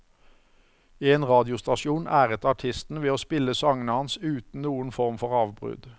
En radiostasjon æret artisten ved å spille sangene hans uten noen form for avbrudd.